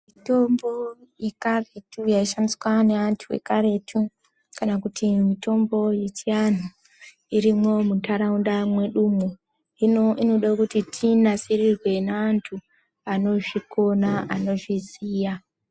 Mitombo yekaretu yaishandiswa neantu ekaretu kana kuti mitombo yechiantu irimwo mundaraunda mwedumwo hino inoda kuti tinasirirwe neantu anozvikona anozviziya.